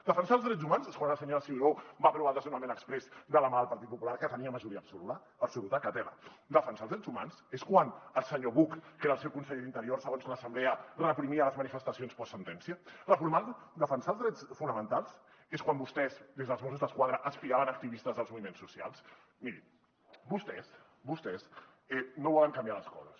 defensar els drets humans és quan la senyora ciuró va aprovar el desnonament exprés de la mà del partit popular que tenia majoria absoluta que tela defensar els drets humans és quan el senyor buch que era el seu conseller d’interior segons l’assemblea reprimia les manifestacions postsentència defensar els drets fonamentals és quan vostès des dels mossos d’esquadra espiaven activistes dels moviments socials mirin vostès vostès no volen canviar les coses